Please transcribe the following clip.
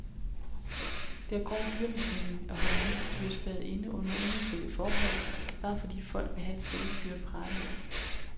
Det er grov dyremishandling at holde vilde dyr spærret inde under unaturlige forhold, bare fordi folk vil have et sjældent dyr at prale af.